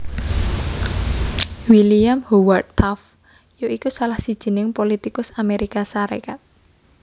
William Howard Taft ya iku salah sijining politikus Amérika Sarékat